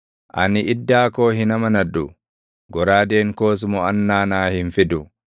Ani iddaa koo hin amanadhu; goraadeen koos moʼannaa naa hin fidu;